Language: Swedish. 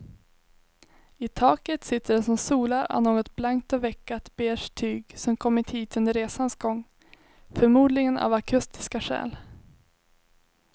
I taket sitter det som solar av något blankt och veckat beige tyg som kommit hit under resans gång, förmodligen av akustiska skäl.